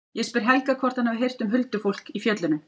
Ég spyr Helga hvort hann hafi heyrt um huldufólk í fjöllunum.